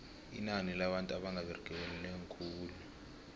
inani labantu abanga beregiko linengi khulu